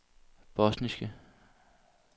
bosniske